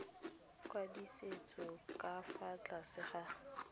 kwadisitsweng ka fa tlase ga